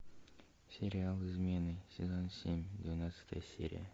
сериал измены сезон семь двенадцатая серия